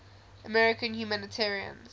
american humanitarians